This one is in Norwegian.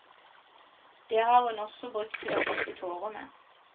Det har hun også brukt til å tørke tårer med.